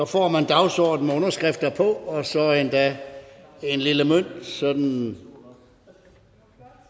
får man dagsordenen med underskrifter på og så endda en lille mønt sådan